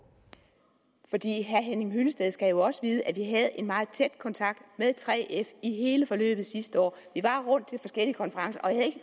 henning hyllested skal jo også vide at vi havde en meget tæt kontakt med 3f i hele forløbet sidste år vi var rundt til forskellige konferencer og jeg